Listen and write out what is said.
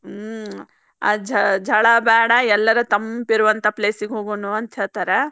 ಹ್ಮ್ ಆ ಝಳ ಬ್ಯಾಡಾ ಎಲ್ಲರೆ ತಂಪ ಇರುವಂಥಾ place ಗೆ ಹೋಗುಣು ಅಂತ ಹೇಳ್ತಾರ.